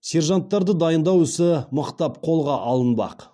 сержанттарды дайындау ісі мықтап қолға алынбақ